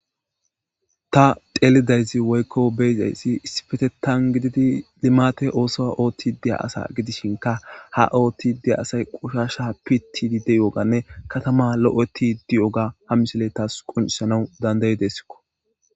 ta xeelidaysi woykko beysayssi issipetetan gididi limate ooso oothti deya asa gidishinka ha oothti dea asay qushasha pitidi de ooganne katama lo7eeti di7oga ha misile taas quncisanau dandayidessikko